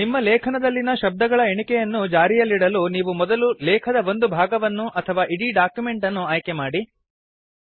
ನಿಮ್ಮ ಲೇಖನದಲ್ಲಿನ ಶಬ್ದಗಳ ಎಣಿಕೆಯನ್ನು ಜಾರಿಯಲ್ಲಿಡಲು ನೀವು ಮೊದಲು ಲೇಖದ ಒಂದು ಭಾಗವನ್ನು ಅಥವಾ ಇಡೀ ಡಾಕ್ಯುಮೆಂಟ್ ಅನ್ನು ಆಯ್ಕೆಮಾಡಿ